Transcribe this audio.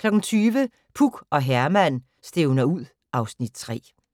20:00: Puk og Herman stævner ud (Afs. 3)